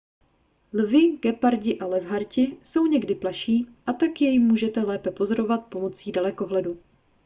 lvi gepardi a levharti jsou někdy plaší a tak je můžete lépe pozorovat pomocí dalekohledu